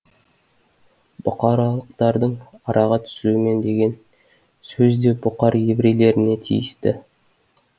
бұқаралықтардың араға түсуімен деген сөз де бұқар еврейлеріне тиісті